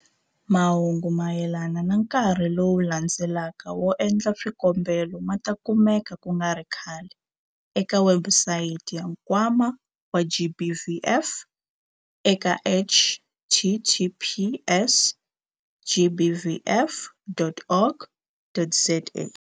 Mahungu mayelana na nkarhi lowu landzelaka wo endla swikombelo ma ta kumeka ku nga ri khale eka webusayiti ya Nkwama wa GBVF eka- https gbvf.org.za.